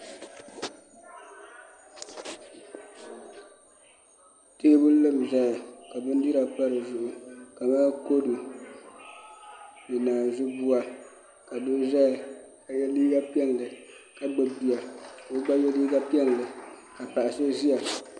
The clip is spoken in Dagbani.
Teebuli n ʒɛya ka bindira pa dizuɣu kamani kodu ni naazu buwa ka doo ʒɛya ka yɛ liiga piɛlli ka gbubi bia ka o gba yɛ liiga piɛlli ka paɣa so ʒiya